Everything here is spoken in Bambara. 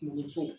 Muso